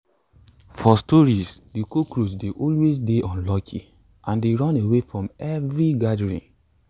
for stories de cockroach dey always dey unlucky and dey run away from every gathering